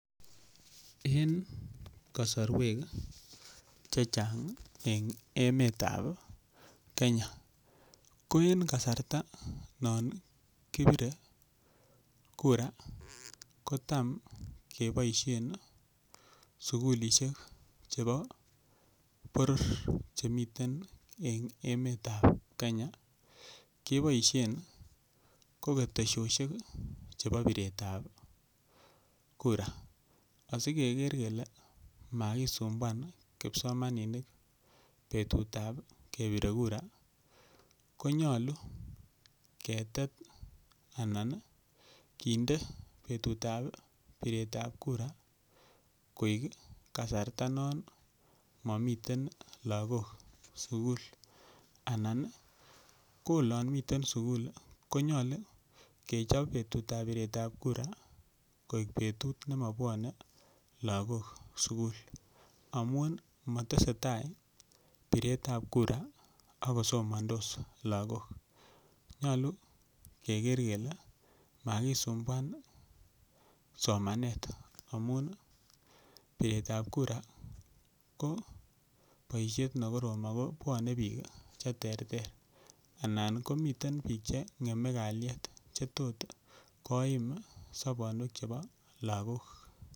En kasarwek che chang' eng' emet ap Kenya ko en kasarta nan kipire kura ko tam kepaishe sukulishek chepo poror che miten en emetap Kenya, kepaishen ko keteshoshek chepo piretap kura. Asikeker kele makisumbuan kipsomaninik petut ap kepire kura konyalu ketet anan kinde petut ap piret ap kura koek kasarta nan mamitei lagok sukul anan ko olan miten sukul konyalu kechop petut ap piret ap kura koek petut notok ne ma pwane lagok sukul amun ma tese tai piretap kura ak kosomandos lagok. Nyalu keker kele makisumbuan somanet amun piretap kura ko poishet ne korom ako pwane piik che terter anan komiten piik che ng'emen kalyet che tot koim sapanwek chepo lagok.